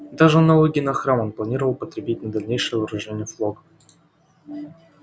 даже налоги на храм он планировал употребить на дальнейшее вооружение флота